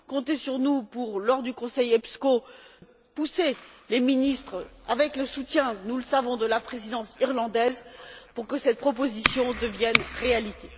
comptez sur nous lors du conseil Epsco pour pousser les ministres avec le soutien, nous le savons, de la présidence irlandaise, afin que cette proposition devienne réalité.